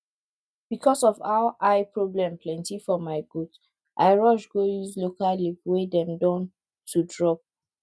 because of how eye problem plenty for my goat i rush go use local leaf wey dem don to drop